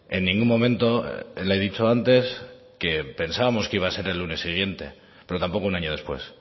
en ningún momento le he dicho antes que pensábamos que iba a ser el lunes siguiente pero tampoco un año después